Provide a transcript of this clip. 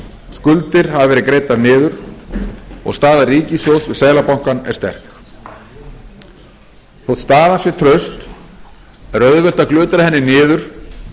skuldir hafa verið greiddar niður og staða ríkissjóðs við seðlabankann er sterk þótt staðan sé traust er auðvelt að glutra henni niður ef